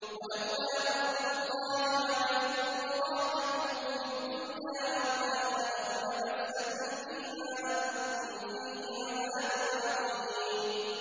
وَلَوْلَا فَضْلُ اللَّهِ عَلَيْكُمْ وَرَحْمَتُهُ فِي الدُّنْيَا وَالْآخِرَةِ لَمَسَّكُمْ فِي مَا أَفَضْتُمْ فِيهِ عَذَابٌ عَظِيمٌ